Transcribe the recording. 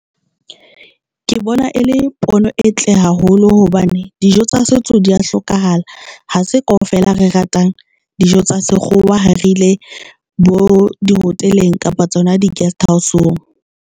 Ke bona e le pono entle haholo hobane dijo tsa setso di a hlokahala ha se kaofela re ratang dijo tsa sekgowa ha re ile bo di-hotel-eng kapa tsona di-guest house-ong.